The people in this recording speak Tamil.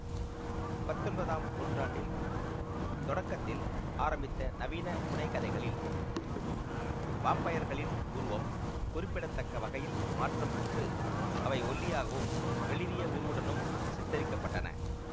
பத்தொன்பதாம் நூற்றாண்டில் தொடக்கத்தில் ஆரம்பித்த நவீன புனைகதைகளில் வாம்பயர்களின் உருவம் குறிப்பிடத்தக்க வகையில் மாற்றம் பெற்று அவை ஒல்லியாகவும் வெளிறிய உருவுடனும் சித்தரிக்கப்பட்டன